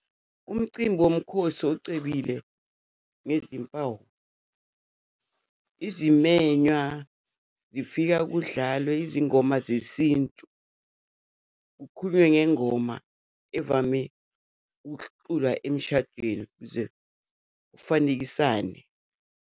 Umcimbi yomkhosi ocebile ngezimpawu. Izimenywa zifika kudlalwe izingoma zesintu, kukhulunywe ngengoma evame ukuculwa emshadweni kuze kufanekisane.